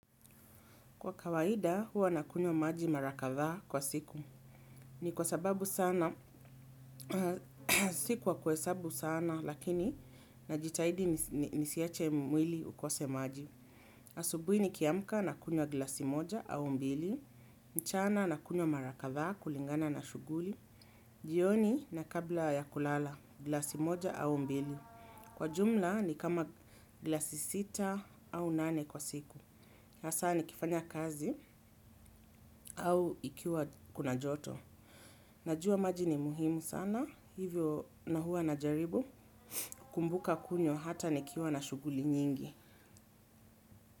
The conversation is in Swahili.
Kwa kawaida huwa nakunywa maji mara kadhaa kwa siku. Ni kwa sababu sana, si kwa kuhesabu sana lakini najitahidi ni siache mwili ukose maji. Asubuhi ni kiamka na kunywa glasi moja au mbili, mchana nakunywa mara kadhaa kulingana na shughuli, jioni na kabla ya kulala glasi moja au mbili. Kwa jumla ni kama glasi sita au nane kwa siku. Hasa ni kifanya kazi au ikiwa kuna joto. Najua maji ni muhimu sana, hivyo na huwa na jaribu, kukumbuka kunywa hata nikiwa na shughuli nyingi.